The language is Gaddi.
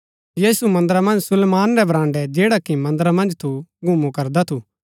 यीशु मन्दरा मन्ज सुलेमान रै बराण्ड़ै जैड़ा कि मन्दरा मन्ज थू घुमु करदा थू